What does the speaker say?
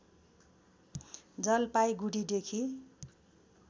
जलपाइगुड़ीदेखि